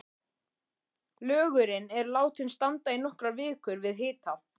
Lögurinn er látinn standa í nokkrar vikur við hita.